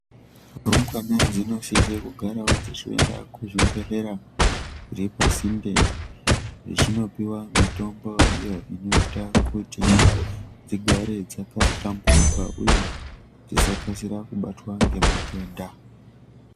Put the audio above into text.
Rumbwana dzinosise kugarawo dzichiende kuzvibhehlera zviri pasinde dzichinopiwa mitombo iyo inoita kuti dzigare dzakahlamburuka uye dzisakasira kubatwa ngematenda.